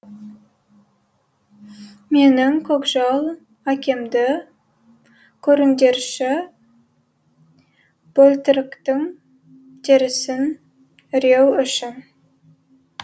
менің көкжал әкемді көріңдерші бөлтіріктің терісін іреу үшін